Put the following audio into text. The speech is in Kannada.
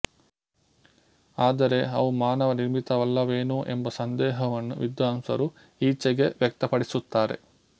ಆದರೆ ಅವು ಮಾನವ ನಿರ್ಮಿತವಲ್ಲವೇನೋ ಎಂಬ ಸಂದೇಹವನ್ನು ವಿದ್ವಾಂಸರು ಈಚೆಗೆ ವ್ಯಕ್ತಪಡಿಸುತ್ತಾರೆ